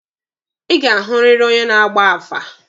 Ị ga-ahụrịrị onye na-agba afa!